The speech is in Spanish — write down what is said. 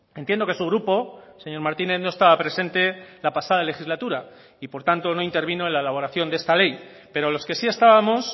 entiendo que su grupo señor martínez no estaba presente la pasada legislatura y por tanto no intervino en la elaboración de esta ley pero los que sí estábamos